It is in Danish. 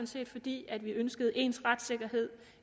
set fordi vi ønskede ens retssikkerhed